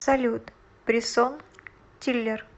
салют брисон тиллер